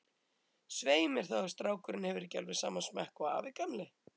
Svei mér þá, ef strákurinn hefur ekki alveg sama smekk og afi gamli.